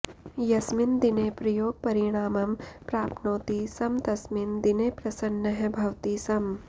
यस्मिन् दिने प्रयोगपरिणामं प्राप्नोति स्म तस्मिन् दिने प्रसन्नः भवति स्म